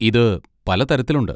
ഇത് പല തരത്തിലുണ്ട്.